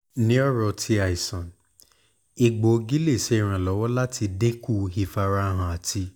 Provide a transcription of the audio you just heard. ni ọran ti aisan egboogi le ṣe iranlọwọ lati dinku ifarahan ati